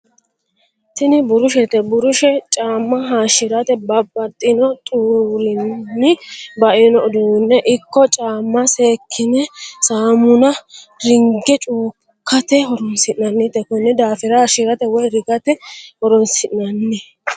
Tini burushete, burushe caamma hashirate babaxino xurunni bainno uduune ikko caamma seekkinne saamunna ringe cuukkate horonsinannnite koni daafirrra hayishirate woyi rigate horonsinanni